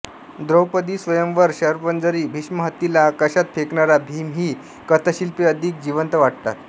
द्रौपदीस्वयंवर शरपंजरी भीष्म हत्तीला आकाशात फेकणारा भीम ही कथाशिल्पे अधिक जिवंत वाटतात